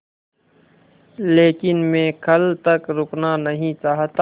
लेकिन मैं कल तक रुकना नहीं चाहता